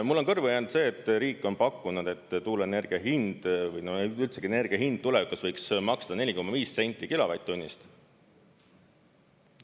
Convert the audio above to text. Mulle on kõrvu jäänud see, et riik on pakkunud, et tuuleenergia hind või üldsegi energia hind tulevikus võiks olla 4,5 senti kilovatt-tunnist.